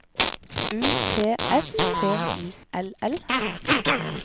U T S P I L L